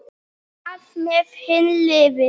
Hvað með hin liðin?